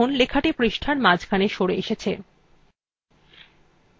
দেখুন লেখাটি পৃষ্টার মাঝখানে সরে এসেছে